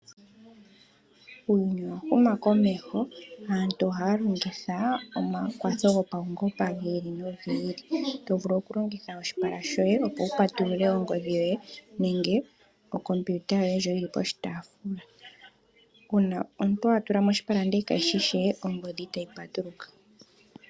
Uuyuni owa huma komesho aantu ohaa longitha omakwatho go paungomba gili nogi ili to vulu oku pay tulula ongodhi to longitha oshipala shoye opo wu patulule Ongodhi yoye nenge o computer yoye ndjo yopa oshitaafula uuna omuntu a tulamo oshipala ndele kayishi she ongodhi itayi patuluka.